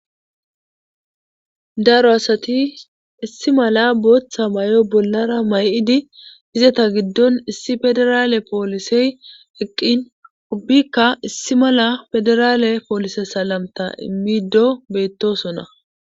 Daro asati issi mala booththa may7o bollara may7idi izata giddon issi federaale poolisey eqqin ubikka issi mala federaale poolise salamta immido beettosonna.